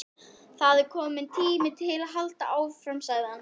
Það er kominn tími til að halda áfram sagði hann.